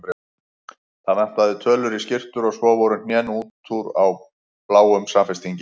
Það vantaði tölur í skyrtur og svo voru hnén út úr á bláum samfestingi.